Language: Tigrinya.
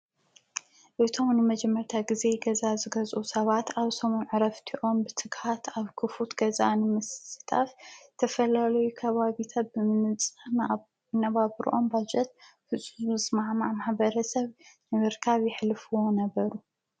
እቶም ንመጀመርታ ጊዜ ገዛ ዝገዝኡ ሰባት ኣብሰሙም ዕ ረፍቲዖም ብትግሃት ኣብ ክፉት ገዛ ንምስስታፍ ዝተፈላለይ ከባቢቶት ብምንጽ ነባብርኦም ባጀት ፍፁዝ መዕማዕ ማኅበረ ሰብ ንምርካብ ይኅልፍዎ ነበሩ።